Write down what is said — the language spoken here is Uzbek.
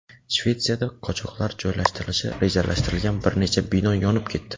Shvetsiyada qochoqlar joylashtirilishi rejalashtirilgan bir necha bino yonib ketdi.